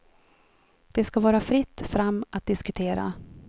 Det skall vara fritt fram att diskutera.